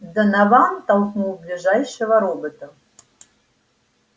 донован толкнул ближайшего робота